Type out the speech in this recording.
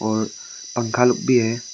और पंखा लोग भी है।